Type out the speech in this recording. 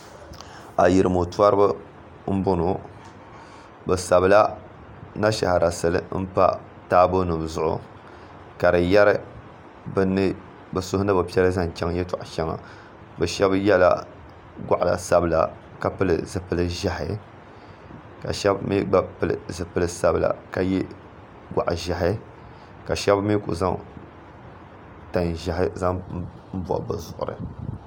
Ayirimo toriba m boŋɔ bɛ sabila nashaara sili m pa taabo nima zuɣu ka di yeri bɛ suhu ni bɛ piɛla zaŋ chaŋ yeli sheŋɔ polo bɛ sheba yela ŋɔɣa sabila ka pili zipil'ʒehi ka sheba mee gba pili zipil'sabila ka ye goɣa'ʒehi ka sheba mee kuli zaŋ tan'ʒehi zaŋ bobi bɛ zuɣuri.